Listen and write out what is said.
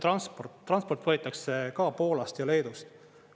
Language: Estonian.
Transport võetakse ka Poolast ja Leedust.